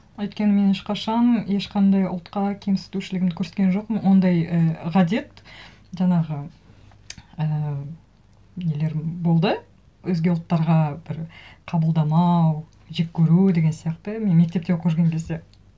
өйткені мен ешқашан ешқандай ұлтқа кемсітушілігімді көрсеткен жоқпын ондай і ғадет жаңағы ііі нелерім болды өзге ұлттарға бір қабылдамау жек көру деген сияқты мен мектепте оқып жүрген кезде